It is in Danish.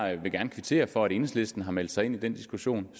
jeg vil gerne kvittere for at enhedslisten har meldt sig ind i den diskussion